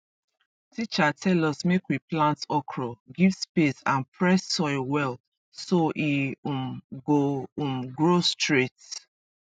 teacher tell us make we plant okra give space and press soil well so e um go um grow straight